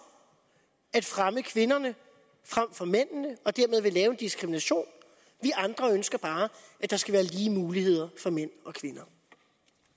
at fremme kvinderne frem for mændene og dermed vil lave diskrimination vi andre ønsker bare at der skal være lige muligheder for mænd